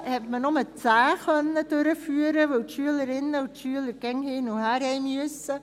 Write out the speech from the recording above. Bis jetzt konnte man nur 10 durchführen, weil die Schülerinnen und Schüler dauernd hin und her mussten.